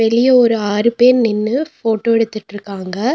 வெளிய ஒரு ஆறு பேர் நின்னு போட்டோ எடுத்துட்ருக்காங்க.